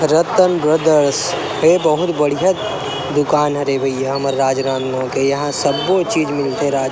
रतन brothers ए बहुत बढ़िया बढ़िया दुकान हरे भईया हमर राजनंदगाव के यहाँ सबबो चीज़ मिलते रा--